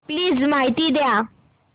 please माहिती द्या